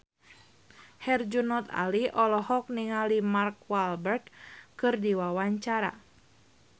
Herjunot Ali olohok ningali Mark Walberg keur diwawancara